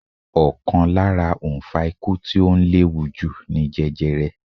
Ọ̀kan lára òǹfà ikú tí ó ń léwájú ni jẹjerẹ.